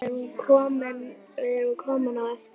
Við erum komin á eftir.